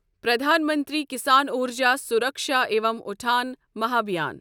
پرٛدھان منتری کِسان اُرجا سوٗرَکشا عِوم اٹُھان مہابھیان